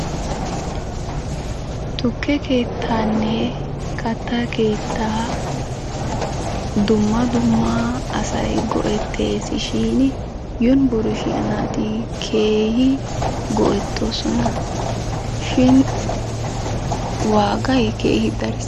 Tukke keettaanne katta keettaa dumma dumma go'tteesishiini yunbburushiya naati keehi go'ettoosona. Shin waagay keehi dariis.